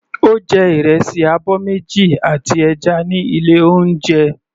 Ó jẹ ìrẹsì abọ́ méjì àti ẹja ní ilé oúnjẹ.